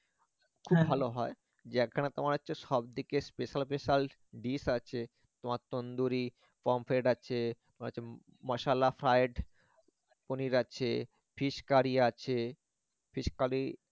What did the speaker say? খুব ভালো হয় যে একখানা তোমার হচ্ছে সবদিকে special special dish আছে তোমার তন্দুরি pomfret আছে তোমার হচ্ছে মসালা fried পনির আছে fish curry আছে fish curry